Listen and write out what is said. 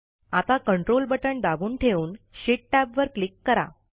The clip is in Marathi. आता कंट्रोल बटण दाबून ठेवून शीट टॅबवर क्लिक करा